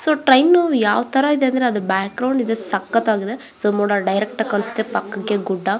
so train ಯಾವ್ ತರ ಇದೆ ಅಂದ್ರೆ ಅದು ಬ್ಯಾಕ್ಗ್ರೌಂಡ್ ಇದೆ ಸಕ್ಕತಾಗಿದೆ ಸೊ ಮೋಡ ಡೈರೆಕ್ಟ್ ಆಗಿ ಕಾಣ್ಸುತ್ತೆ ಪಕ್ಕಕ್ಕೆ ಗುಡ್ಡ --